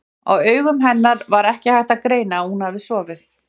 Á augum hennar var ekki hægt að greina að hún hefði sofið.